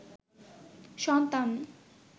সন্তান